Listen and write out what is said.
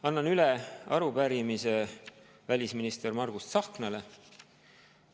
Annan üle arupärimise välisminister Margus Tsahknale.